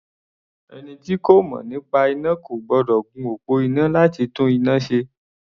Ẹni tí kò mọ̀ nípa iná kò gbọ́dọ̀ gun òpó iná láti tún iná ṣe.